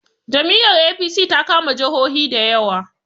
Jam'i yar A.p.c ta kama jahohi da yawa